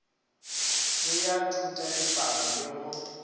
le ya thutadipalo le go